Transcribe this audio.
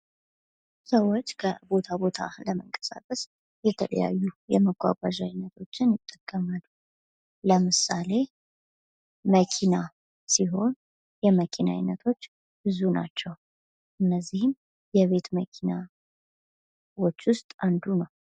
ሰዎች ከቦታ ቦታ ለመንቀሳቀስ የተለያዩ የመጓጓዣ አይነቶችን ይጠቀማሉ። ለምሳሌ ፦መኪና ሲሆን የመኪና አይነቶች ብዙ ናቸው። እነዚህም የቤት መኪና ከመኪናዎች ውስጥ አንዱ ነው።